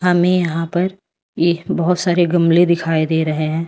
हमें यहां पर ये बहोत सारे गमले दिखाई दे रहे हैं।